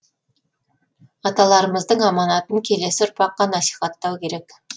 аталарымыздың аманатын келесі ұрпаққа насихаттау керек